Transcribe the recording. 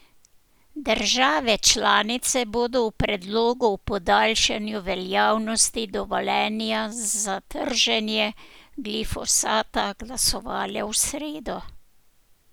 Države članice bodo o predlogu o podaljšanju veljavnosti dovoljenja za trženje glifosata glasovale v sredo.